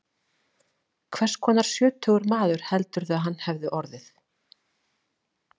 Hvers konar sjötugur maður heldurðu að hann hefði orðið?